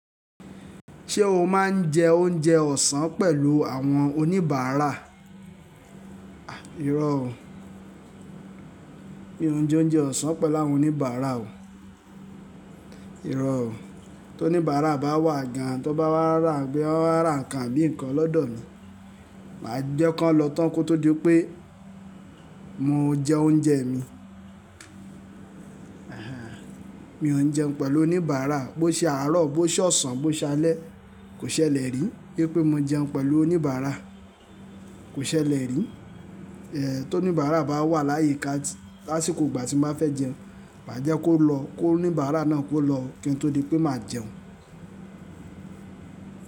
Ṣé o máa ń jẹ oúnjẹ ọ̀sán pẹ̀lú àwọn oníbàárà? À! Iro o. Mi ò n jẹ oúnjẹ ọ̀sán pẹ̀lú àwọn oníbàárà o. Irọ́ o. Tó oníbàárà bá wà gan, tó bá wà wá rà, gbé wá rà nǹkan bíi nǹkan lọ́dọ̀ mi, màá jẹ́ ko lọ tán kó tó di pé mo jẹ oúnjẹ mi. Ẹ̀hẹ́n, mi ò ń jẹun pẹ̀lú oníbàárà. Bó ṣè àárọ̀, bó ṣe ọ̀sán, bó ṣe alẹ́, kò ṣẹlẹ̀ rí. Bí i pé mo jẹun pẹ̀lú oníbàárà, kò ṣẹlẹ̀ rí. Ẹ̀, tó oníbàárà bá wà láyè ká, lásìkò ìgbà tí mó fé jẹun, màá jẹ́ kó lọ, kó oníbàárà náà kó lọ kí n tó di pé màá jẹun.